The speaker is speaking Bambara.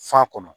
Fa kɔnɔ